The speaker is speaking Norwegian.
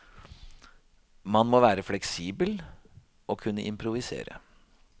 Man må være fleksibel og kunne improvisere.